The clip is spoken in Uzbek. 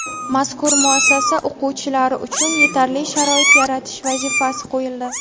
Mazkur muassasa o‘quvchilari uchun yetarli sharoit yaratish vazifasi qo‘yildi.